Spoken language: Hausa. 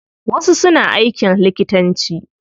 Wasu suna aikin likitanci.